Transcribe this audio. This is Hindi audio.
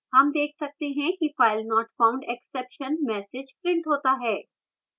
हम देख सकते हैं कि filenotfoundexception message printed होता है